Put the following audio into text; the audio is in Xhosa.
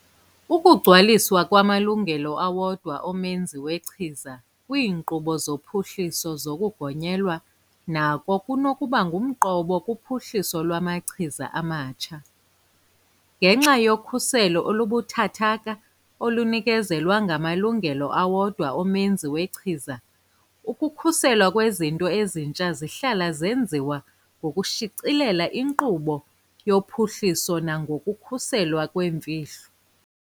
Ukugcwaliswa kwamalungelo awodwa omenzi wechiza kwiinkqubo zophuhliso lokugonyelwa nako kunokuba ngumqobo kuphuhliso lwamachiza amatsha. Ngenxa yokhuselo olubuthathaka olunikezelwa ngamalungelo awodwa omenzi wechiza, ukukhuselwa kwezinto ezintsha zihlala zenziwa ngokushicilela inkqubo yophuhliso nangokukhuselwa kwemfihlo.